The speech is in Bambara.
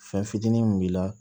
Fɛn fitinin min b'i la